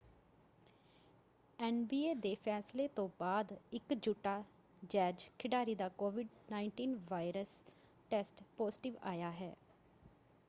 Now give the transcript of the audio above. NBA ਦੇ ਫੈਸਲੇ ਤੋਂ ਬਾਅਦ ਇੱਕ ਯੂਟਾ ਜੈਜ਼ ਖਿਡਾਰੀ ਦਾ ਕੋਵਿਡ-19 ਵਾਇਰਸ ਟੈਸਟ ਪਾਜ਼ੀਟਿਵ ਆਇਆ ਹੈ।